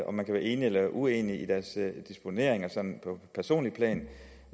om man kan være enig eller uenig i deres disponeringer sådan på personligt plan